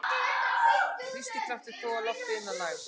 Þrýstikraftur togar loftið inn að lægð.